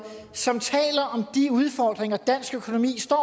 som taler om de udfordringer dansk økonomi står